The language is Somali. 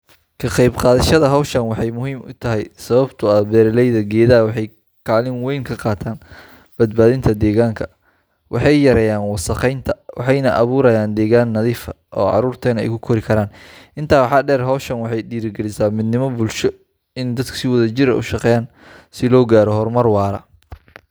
Ka qaybqaadashada hawshan waxay muhiim ii tahay sababtoo ah beeraleyda geedaha waxay kaalin wayn ka qaataan badbaadinta deegaanka. Waxay yareeyaan wasakheynta, waxayna abuurayaan deegaan nadiif ah oo caruurteennu ay ku kori karaan. Intaa waxaa dheer, hawshan waxay dhiirrigelisaa midnimo bulsho iyo in dadku si wadajir ah u shaqeeyaan si loo gaaro horumar waara.